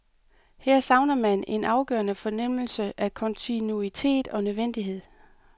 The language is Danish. Her savner man en afgørende fornemmelse af kontinuitet og nødvendighed.